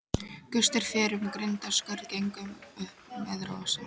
Gustur fer um grindaskörð gengur upp með rosa.